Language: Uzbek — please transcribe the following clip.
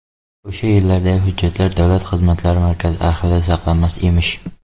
O‘sha yillardagi hujjatlar davlat xizmatlari markazi arxivida saqlanmas emish.